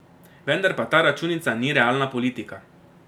Vendar pa ta računica ni realna politika.